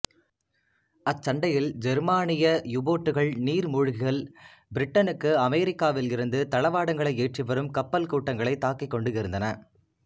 அச்சண்டையில் ஜெர்மானிய யுபோட்டுகள் நீர்மூழ்கிகள் பிரிட்டனுக்கு அமெரிக்காவிலிருந்து தளவாடங்களை ஏற்றிவரும் கப்பல் கூட்டங்களைத் தாக்கிக் கொண்டிருந்தன